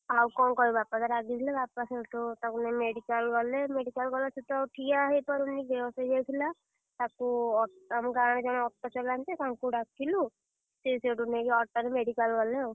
ଆଉ କଣ କହିବୁ? ବାପା ତ ରାଗିଥିଲେ ବାପା ସେଇଠୁ ତାକୁ ନେଇକି medical ଗଲେ medical ଗଲା ସେ ତ ଆଉ ଠିଆ ହେଇପାରିଲାନି, ବେହୋସ ହେଇଯାଇଥିଲା, ତାକୁ ଆମ ଗାଁରେ ଜଣେ, auto ଚଲାନ୍ତି ତାଙ୍କୁ ଡାକିଲୁ, ସିଏ ସେଇଠୁ ନେଇକି auto ରେ medical ଗଲେ।